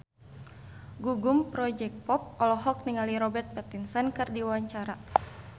Gugum Project Pop olohok ningali Robert Pattinson keur diwawancara